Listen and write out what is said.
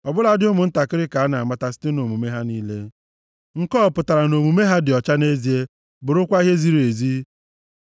Ọbụladị ụmụntakịrị ka a na-amata site nʼomume ha niile, nke a ọ pụtara nʼomume ha dị ọcha nʼezie a, bụrụkwa ihe ziri ezi?